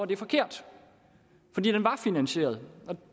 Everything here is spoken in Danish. det forkert fordi den var finansieret